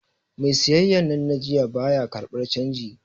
Mai siyayyar nan na jiya, ba ya karɓar canji.